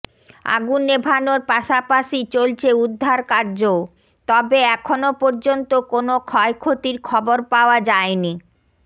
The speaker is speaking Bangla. আগুন নেভানোর পাশাপাশি চলছে উদ্ধার কার্যও তবে এখনও পর্যন্ত কোনও ক্ষয়ক্ষতির খবর পাওয়া যায়নি